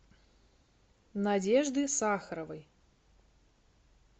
надежды сахаровой